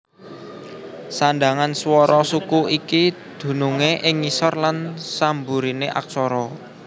Sandhangan swara suku iki dunungé ing ngisor lan samburiné aksara